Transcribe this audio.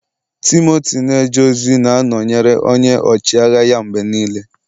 Timoti na-eje ozi na-anọnyere onye ọchịagha ya mgbe niile.